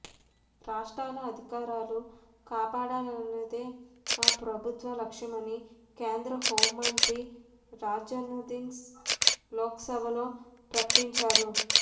రాష్ట్రాల అధికారాలు కాపాడాలన్నదే మా ప్రభుత్వ లక్ష్యమని కేంద్ర హోంమంత్రి రాజ్నాథ్సింగ్ లోక్సభలో ప్రకటించారు